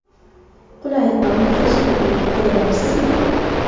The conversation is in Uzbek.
Qulay va muhtasham uy qidiryapsizmi?